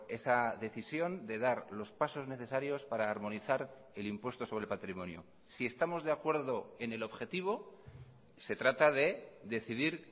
esa decisión de dar los pasos necesarios para armonizar el impuesto sobre el patrimonio si estamos de acuerdo en el objetivo se trata de decidir